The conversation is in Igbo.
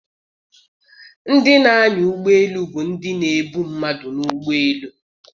Ndị na-anya ụgbọ elu bụ ndị na-ebu mmadụ n'ụgbọelu.